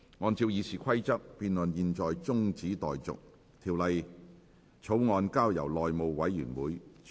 按照《議事規則》，辯論現在中止待續，條例草案交由內務委員會處理。